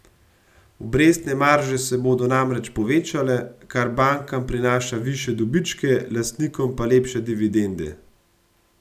Obrestne marže se bodo namreč povečale, kar bankam prinaša višje dobičke, lastnikom pa lepše dividende.